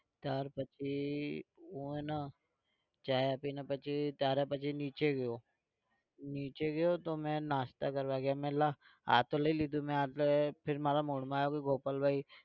ત્યાર પછી હું હે ને ચા પી ને પછી તારા પછી નીચે ગયો નીચે ગયો તો મેં નાસ્તા કરવા ગયા મેં તો લા આ તો લઇ લીધું મેં આ फिर મારા mood માં આવ્યું ગોપાલભાઈ